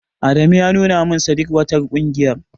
Adamu ya nuna min shadikwatar ƙungiyar.